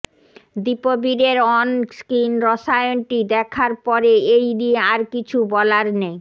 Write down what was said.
দীপবীরের on screen রসায়নটি দেখার পরে এই নিয়ে আর কিছু বলার নেই